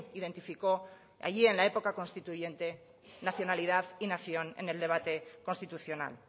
identificó allí en la época constituyente nacionalidad y nación en el debate constitucional